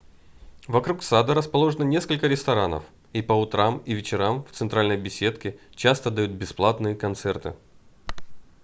вокруг сада расположено несколько ресторанов и по утрам и вечерам в центральной беседке часто дают бесплатные концерты